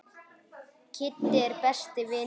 Kiddi er besti vinur hans.